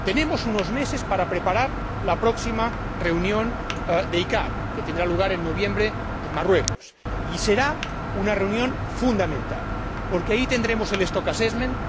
Tenemos unos meses para preparar la próxima reunión de la CICAA, que tendrá lugar en noviembre, en Marruecos, y será una reunión fundamental porque ahí tendremos el stock assessment